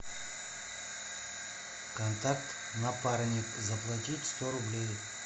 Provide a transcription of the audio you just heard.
контакт напарник заплатить сто рублей